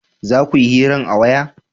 za kuyi hiran a waya?